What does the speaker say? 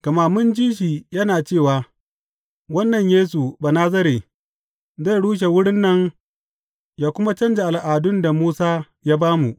Gama mun ji shi yana cewa wannan Yesu Banazare zai rushe wurin nan ya kuma canja al’adun da Musa ya ba mu.